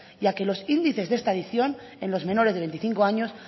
ya que los índices de esta adicción en los menores de veinticinco años